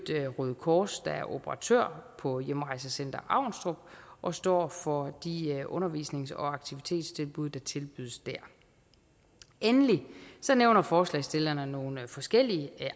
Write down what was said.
røde kors der er operatør på hjemrejsecenter avnstrup og står for de undervisnings og aktivitetstilbud der tilbydes der endelig nævner forslagsstillerne nogle forskellige